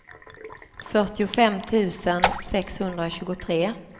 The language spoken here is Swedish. fyrtiofem tusen sexhundratjugotre